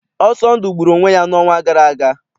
Ọsọndụ gburu onwe ya n'ọnwa gara aga.